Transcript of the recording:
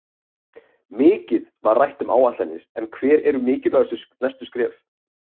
Mikið var rætt um áætlanir en hver eru mikilvægustu næstu skref?